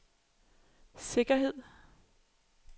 sikkerhed